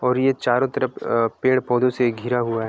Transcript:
और ये चारो तरफ अ से पेड़-पोधो दे घिरा हुआ है।